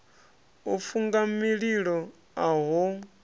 u funga mililo a ho